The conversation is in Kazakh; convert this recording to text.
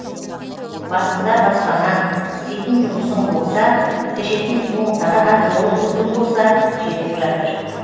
басында баспанаң істейтін жұмысың болса ішетін суың таза жолың түзу болса жетіп жатыр